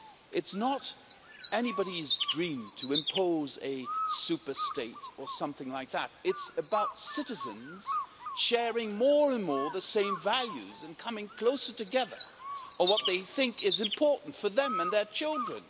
It is not anybody's dream to impose a superstate' or something of that nature. It is about citizens sharing, more and more, the same values and coming closer together on what they think is important for them and their children.